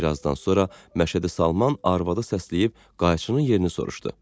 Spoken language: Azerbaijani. Bir azdan sonra Məşədi Salman arvadı səsləyib qayçının yerini soruşdu.